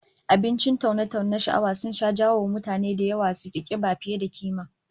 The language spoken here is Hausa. Abincin taune-taune na sha'awa sun sha jawo wa mutane da yawa suki kiba fiye da kima